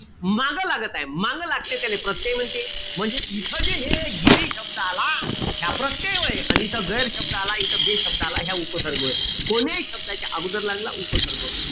मागं लागत आहे. मांग लागते त्याले. प्रत्यय म्हणते. म्हणजे इथं जे हे गिरी शब्द आला. ह्या प्रत्यय व्हय. अन जिथं गैर शब्द आला इथं बे शब्द आला. ह्या उपसर्ग होय. कोण्याही शब्दाच्या अगोदर लागला, उपसर्ग.